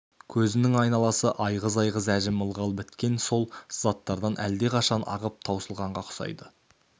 көзінің айналасы айғыз-айғыз әжім ылғал біткен сол сызаттардан әлдеқашан ағып таусылғанға ұқсайды